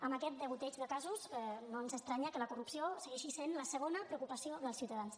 amb aquest degoteig de casos no ens estranya que la corrupció segueixi sent la segona preocupació dels ciutadans